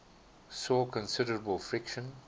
saw considerable friction